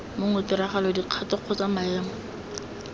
mongwe tiragalo dikgato kgotsa maemo